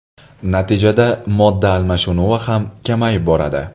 Natijada modda almashinuvi ham kamayib boradi.